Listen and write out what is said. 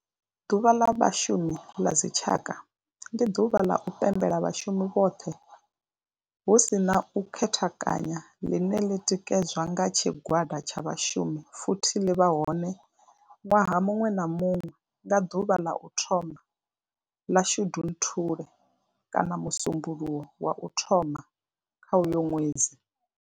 Ḓuvha ḽa vhashumi ḽa dzi tshaka, ndi duvha ḽa u pembela vhashumi vhoṱhe hu si na u khethekanya ḽine ḽi tikedzwa nga tshigwada tsha vhashumi futhi ḽi vha hone nwaha munwe na munwe nga duvha ḽa u thoma 1 ḽa Shundunthule kana musumbulowo wa u thoma kha uyo nwedzi.